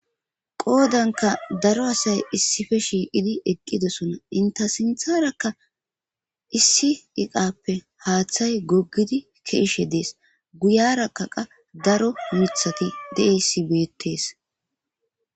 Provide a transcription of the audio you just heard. qoodanka daro asay issife shiiqidi eqqidosona inta sintharakka issi iqappe haaththay goggidi keeshe dees guyaraka qa daro mithati deissi beettees